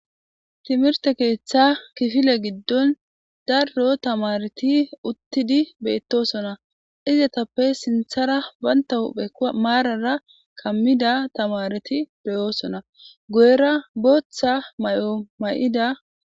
Timirte keeththa kifile giddon darro tamareti uttidi beettosona izetappe sinthara banta hupheka maarara kammida tamareti beyoosona guyera booththa may7omay'ida.